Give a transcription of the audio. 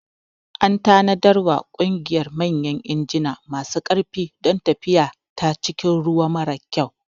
An tanadarwa ƙugiyar manyan injina masu ƙarfi don tafiya ta cikin ruwa mara kyau.